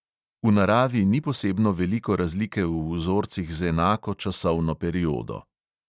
V naravi ni posebno veliko razlike v vzorcih z enako časovno periodo.